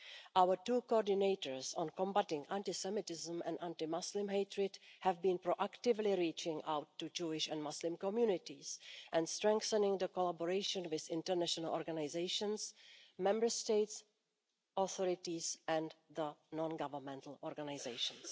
Our two coordinators on combating anti Semitism and anti Muslim hatred have been proactively reaching out to Jewish and Muslim communities, and strengthening the collaboration with international organisations, Member States' authorities and non governmental organisations.